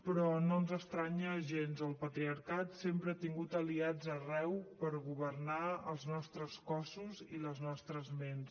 però no ens estranya gens el patriarcat sempre ha tingut aliats arreu per governar els nostres cossos i les nostres ments